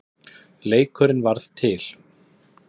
Leikurinn varð til.